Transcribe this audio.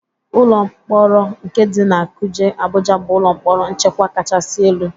Ụlọ mkporo nke dị na Kuje, Abụja bụ ụlọ mkpọrọ nchekwa kachasi elu.